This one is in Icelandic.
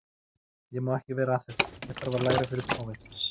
Ég má ekki vera að þessu, ég þarf að læra fyrir prófið.